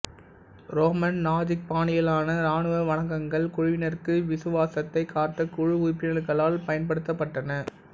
Roman நாஜிக்பாணியிலான இராணுவ வணக்கங்கள் குழுவினருக்கு விசுவாசத்தை காட்ட குழு உறுப்பினர்களால் பயன்படுத்தப்பட்டன